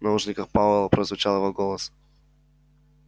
в наушниках пауэлла прозвучал его голос